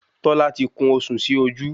Tọ́lá ti kún osùn sí ojú